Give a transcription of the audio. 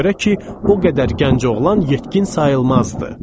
Ona görə ki, o qədər gənc oğlan yetkin sayılmazdı.